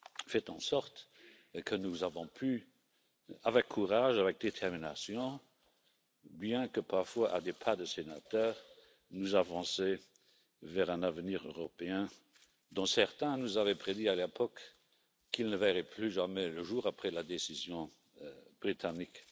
fait en sorte que nous avons pu, avec courage, avec détermination, bien que, parfois, à un train de sénateur, avancer vers un avenir européen dont certains nous avaient prédit à l'époque qu'il ne verrait plus jamais le jour après la décision britannique.